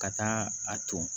Ka taa a ton